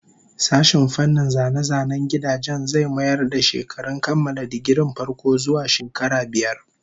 Sashen fannin zane-zanen gidajen zai mayar da shekarun kammala digirin farko zuwa shekara biyar